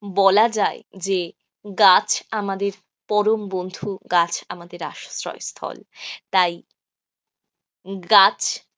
বলা যায় যে গাছ আমাদের পরম বন্ধু, গাছ আমাদের আশ্রয়স্থল. তাই গাছ,